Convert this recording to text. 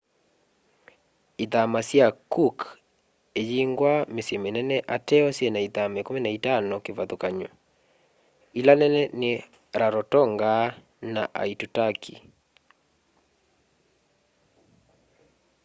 ithama sya cook iyingwa mĩsyĩ mĩnene ateo syĩna ithama 15 kĩvathũkany'o ĩla nene nĩ rarotonga na aitutaki